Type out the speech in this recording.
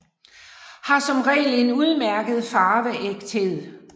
Har som regel en udmærket farveægthed